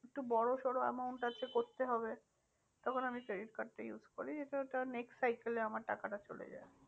একটু বড়ো সড়ো amount আছে করতে হবে তখন আমি credit card টা use করি। যাতে ওটা next cycle এ আমার টাকাটা চলে যায়।